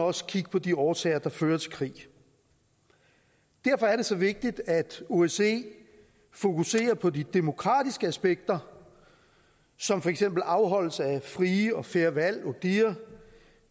også kigge på de årsager der fører til krig derfor er det så vigtigt at osce fokuserer på de demokratiske aspekter som for eksempel afholdelse af frie og fair valg odihr